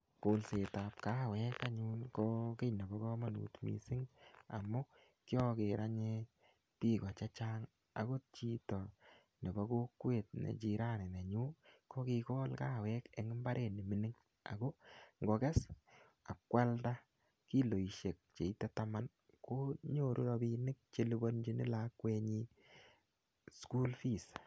kolset ab kawek ko kit ne bo kamanut missing amu kiaker anee kawek ko kit ne bo bik ch chang akot chito ne bo kokwet nenyu kokolee ako ngokes ak kwalda kiloishek cheito taman konyoru rabinik chelipanjin lakwenyi sukul fees